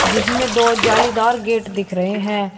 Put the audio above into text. जिसमे दो जालीदार गेट दिख रहे हैं।